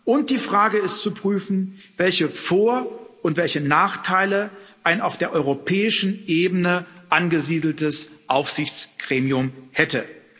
Und die Frage ist zu prüfen, welche Vor und welche Nachteile ein auf der europäischen Ebene angesiedeltes Aufsichtsgremium hätte.